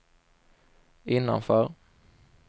innanför